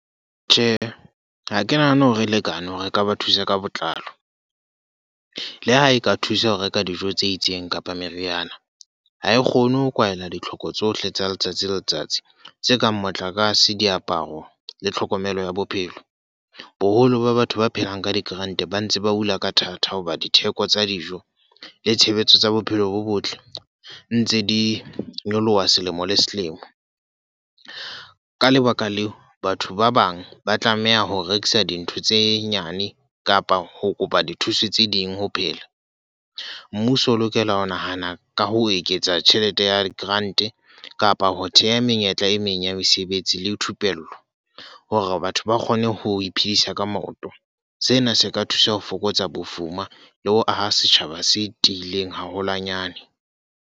Tjhe, ha ke nahane hore e lekane hore re ka ba thusa ka botlalo. Le ha e ka thusa ho reka dijo tse itseng kapa meriana. Ha e kgone ho kwaela ditlhoko tsohle tsa letsatsi le letsatsi tse kang motlakase, diaparo le tlhokomelo ya bophelo. Boholo ba batho ba phelang ka di-grant ba ntse ba hula ka thata hoba ditheko tsa dijo le tshebetso tsa bophelo bo botle, ntse di nyoloha selemo le selemo. Ka lebaka leo, batho ba bang ba tlameha ho rekisa dintho tse nyane kapa ho kopa dithuso tse ding ho phela. Mmuso o lokela ho nahana ka ho eketsa tjhelete ya grant kapa ho theha menyetla e meng ya mesebetsi le thupello. Hore batho ba kgone ho iphedisa ka moroto. Sena se ka thusa ho fokotsa bofuma le ho aha setjhaba se tiileng haholwanyane.